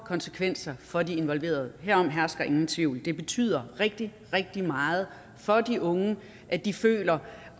konsekvenser for de involverede herom hersker ingen tvivl det betyder rigtig rigtig meget for de unge at de føler